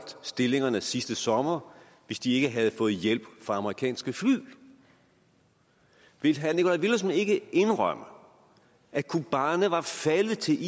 stillingerne sidste sommer hvis de ikke havde fået hjælp fra amerikanske fly vil herre nikolaj villumsen ikke indrømme at kobane var faldet til